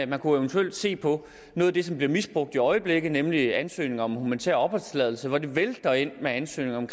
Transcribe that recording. man kunne eventuelt se på noget af det som bliver misbrugt i øjeblikket nemlig ansøgning om humanitær opholdstilladelse det vælter ind med ansøgninger om